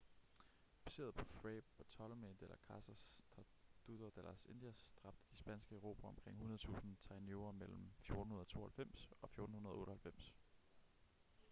baseret på fray bartolomé de las casas tratado de las indias dræbte de spanske erobrere omkring 100.000 taínoer mellem 1492 og 1498